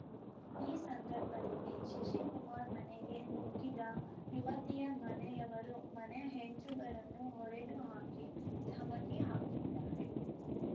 ಈ ಸಂದರ್ಭದಲ್ಲಿ ಶಶಿಕುಮಾರ್‌ ಮನೆಗೆ ನುಗ್ಗಿದ ಯುವತಿಯ ಮನೆಯವರು ಮನೆ ಹೆಂಚುಗಳನ್ನು ಒಡೆದು ಹಾಕಿ ಧಮಕಿ ಹಾಕಿದ್ದಾರೆ